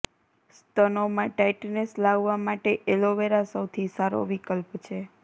સ્તનોમાં tightness લાવવા માટે aloe vera સૌથી સારો વિકલ્પ છે